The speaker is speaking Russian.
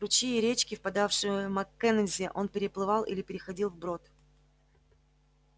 ручьи и речки впадавшие в маккензи он переплывал или переходил вброд